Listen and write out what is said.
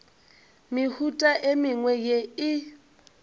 mehuta e mengwe ye e